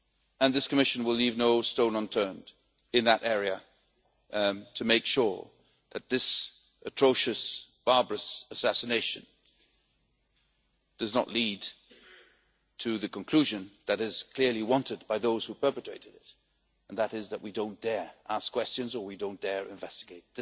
And this Commission will leave no stone unturned in that area to make sure that this atrocious, barbarous assassination does not lead to the conclusion which is clearly wanted by those who perpetrated it, namely that we don't dare ask questions or we don't dare investigate.